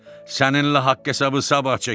Səninlə haqq-hesabı sabah çəkərik.